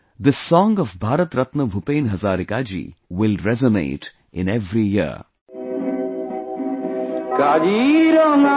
This song of Bharat Ratna Bhupen Hazarika ji will resonate in every ear